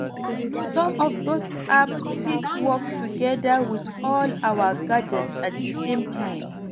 Some of these apps fit work together with all our gadgets at di same time